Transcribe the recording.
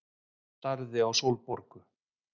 Starði á Sólborgu.